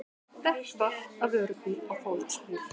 Dekk valt af vörubíl á fólksbíl